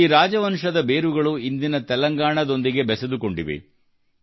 ಈ ರಾಜವಂಶದ ಬೇರುಗಳು ಇಂದಿನ ತೆಲಂಗಾಣದೊಂದಿಗೆ ಬೆಸೆದುಕೊಂಡಿವೆ